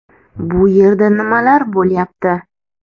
Bu yerda nimalar bo‘lyapti?